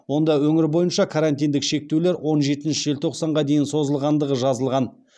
онда өңір бойынша карантиндік шектеулер он жетінші желтоқсанға дейін созылғандығы жазылған